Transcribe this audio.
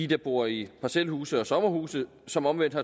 der bor i parcelhuse og sommerhuse som omvendt